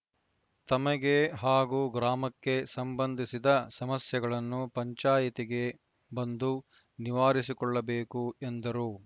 ತಮಗೆ ಹಾಗೂ ಗ್ರಾಮಕ್ಕೆ ಸಂಬಂಧಿಸಿದ ಸಮಸ್ಯೆಗಳನ್ನು ಪಂಚಾಯಿತಿಗೆ ಬಂದು ನಿವಾರಿಸಿಕೊಳ್ಳಬೇಕು ಎಂದರು